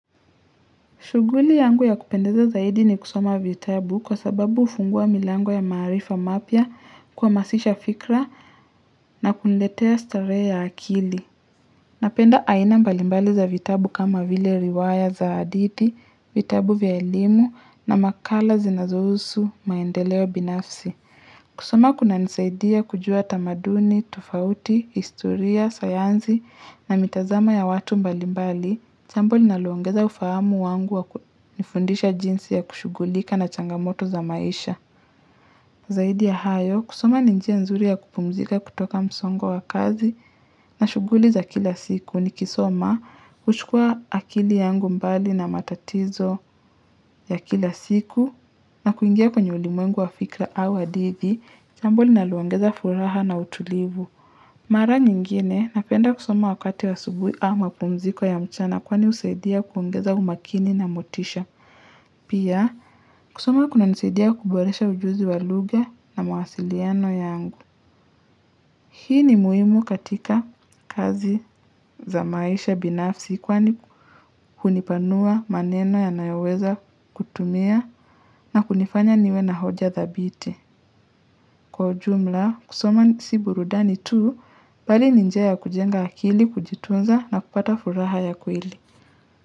Shughuli yangu ya kupendeza zaidi ni kusoma vitabu kwa sababu hufungua milango ya maarifa mapya, kuhamasisha fikra na kuniletea starehe ya akili. Napenda aina mbalimbali za vitabu kama vile riwaya za hadithi, vitabu vya elimu na makala zinazohusu maendeleo binafsi. Kusoma kunanisaidia kujua tamaduni, tofauti, historia, sayansi na mitazamo ya watu mbali mbali. Chambo linalaloongeza ufahamu wangu wa kunifundisha jinsi ya kushugulika na changamoto za maisha. Zaidi ya hayo, kusoma ni njia nzuri ya kupumzika kutoka msongo wa kazi na shughuli za kila siku. Nikisoma. Huchukua akili yangu mbali na matatizo ya kila siku na kuingia kwenye ulimwengu wa fikra au hadithi, chambo linaloongeza furaha na utulivu. Mara nyingine napenda kusoma wakati wa asubuhi ama mapumziko ya mchana kwani husaidia kuongeza umakini na motisha. Pia kusoma kunanisaidia kuboresha ujuzi wa lugha na mawasiliano yangu. Hii ni muhimu katika kazi za maisha binafsi kwani kunipanua maneno ya nayoweza kutumia na kunifanya niwe na hoja dhabiti. Kwa ujumla, kusoma si burudani tu bali ni njia ya kujenga akili, kujitunza na kupata furaha ya kweli.